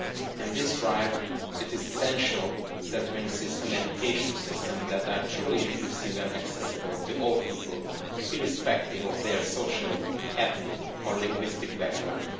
In this drive, it is essential that we insist on education systems that are truly inclusive and accessible to all people, irrespective of their social, ethnic or linguistic background.